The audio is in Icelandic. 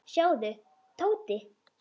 Sjáðu, Tóti.